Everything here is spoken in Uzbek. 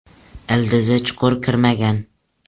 Ildizi chuqur kirmagan.